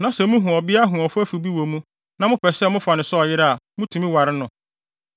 na sɛ muhu ɔbea hoɔfɛfo bi wɔ wɔn mu na, mopɛ sɛ mofa no sɛ ɔyere a, mutumi ware no.